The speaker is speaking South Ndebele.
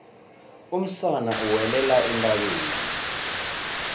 umsana uwelela entabeni